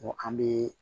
an bɛ